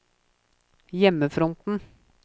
hjemmefronten